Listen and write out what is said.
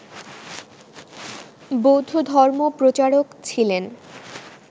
বৌদ্ধধর্ম প্রচারক ছিলেন